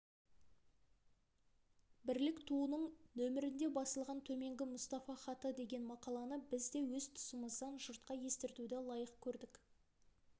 бірлік туының нөмірінде басылған төменгі мұстафа хаты деген мақаланы біз де өз тұсымыздан жұртқа естіртуді лайық көрдік